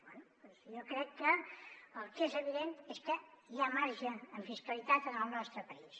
bé jo crec que el que és evident és que hi ha marge en fiscalitat en el nostre país